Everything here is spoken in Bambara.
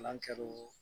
Kalan kɛ o